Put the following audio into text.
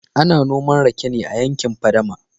ana noman rake ne a yankin fadama